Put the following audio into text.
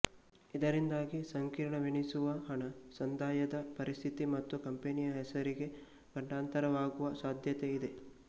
ಇದರಿಂದಾಗಿ ಸಂಕೀರ್ಣವೆನಿಸುವ ಹಣ ಸಂದಾಯದ ಪರಿಸ್ಥಿತಿ ಮತ್ತು ಕಂಪೆನಿಯ ಹೆಸರಿಗೆ ಗಂಡಾಂತರವಾಗುವ ಸಾಧ್ಯತೆ ಇದೆ